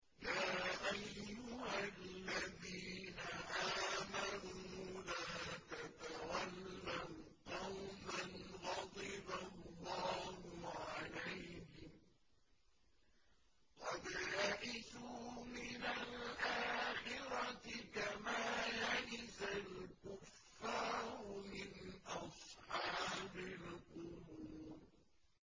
يَا أَيُّهَا الَّذِينَ آمَنُوا لَا تَتَوَلَّوْا قَوْمًا غَضِبَ اللَّهُ عَلَيْهِمْ قَدْ يَئِسُوا مِنَ الْآخِرَةِ كَمَا يَئِسَ الْكُفَّارُ مِنْ أَصْحَابِ الْقُبُورِ